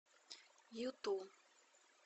юту